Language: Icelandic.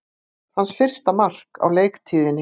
Hans fyrsta mark á leiktíðinni